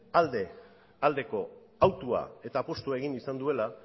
aldeko hautua eta apustua egin izan duela